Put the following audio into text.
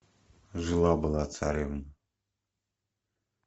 жила была царевна